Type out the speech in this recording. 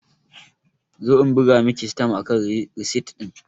Zo in buga Miki sitam akan risit din!